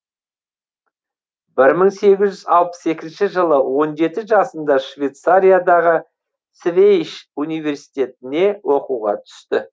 бір мың сегіз жүз алпыс екінші жылы он жеті жасында шветцариядағы свейш университетіне оқуға түседі